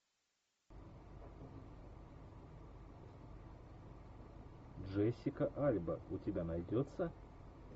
джессика альба у тебя найдется